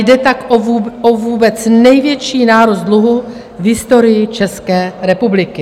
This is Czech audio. Jde tak o vůbec největší nárůst dluhu v historii České republiky.